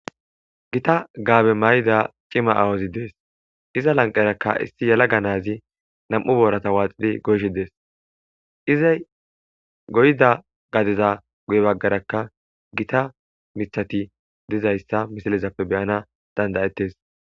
Gita gaabe may'ida cima aawozi dees iza lanqerakka isti yala ganazi nam'u boorata waaxidi goyshi dees izay goyda gadeza guye baggarakka gita mithati dizayssa misalezappe beyana dandayettes.